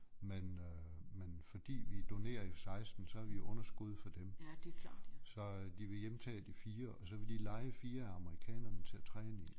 Men øh men fordi vi donerer jo 16 så er vi i underskud for dem så de vil hjemtage de 4 og så vil de leje 4 af amerikanerne til at træne i